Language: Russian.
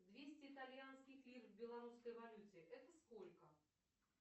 двести итальянских лир в белорусской валюте это сколько